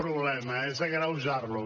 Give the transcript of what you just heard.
problema és agreujar lo